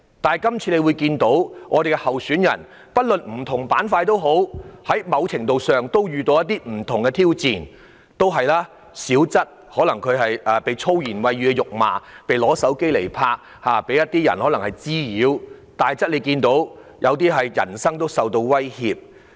但是，這次區議會選舉的候選人，無論屬於甚麼板塊，都在某程度上遇到不同的挑戰，小則被人以粗言穢語辱罵、被人用手機拍攝或滋擾；大則受到人身威脅。